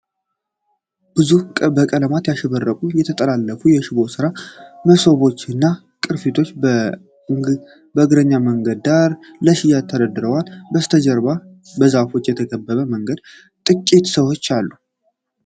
ብዙ በቀለማት ያሸበረቁ የተጠላለፉ የሽቦ ስራ 'መሶቦች' እና ቅርጫቶች በእግረኛ መንገድ ዳር ለሽያጭ ተሰድረዋል። ከበስተጀርባ በዛፎች የተከበበ መንገድና ጥቂት ሰዎች አሉ።